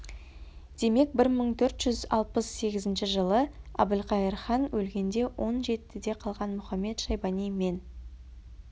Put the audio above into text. демек бір мың төрт жүз алпыс сегізінші жылы әбілқайыр хан өлгенде он жетіде қалған мұхамед-шайбани мен